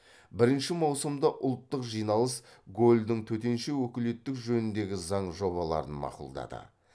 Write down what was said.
бірінші маусымда ұлттық жиналыс голльдің төтенше өкілеттілік жөніндегі заң жобаларын мақұлдады